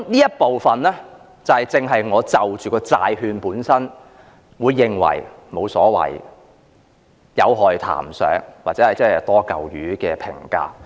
這部分正正解釋了我為何得出發行債券本身是無所謂，談不上有害，或者是"多嚿魚"的評價。